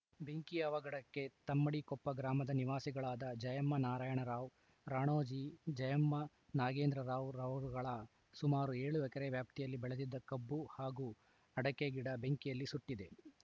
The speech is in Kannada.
ಬೆಂಕಿಯ ಅವಗಡಕ್ಕೆ ತಮ್ಮಡಿಕೊಪ್ಪ ಗ್ರಾಮದ ವಾಸಿಗಳಾದ ಜಯಮ್ಮನಾರಾಯಣರಾವ್‌ ರಾಣೋಜಿ ಜಯ್ಮಮನಾಗೇಂದ್ರರಾವ್‌ರವರುಗಳ ಸುಮಾರು ಏಳು ಎಕೆರೆ ವ್ಯಾಪ್ತಿಯಲ್ಲಿ ಬೆಳೆದಿದ್ದ ಕಬ್ಬು ಹಾಗೂ ಅಡಕೆ ಗಿಡ ಬೆಂಕಿಯಿಂದ ಸುಟ್ಟಿದೆ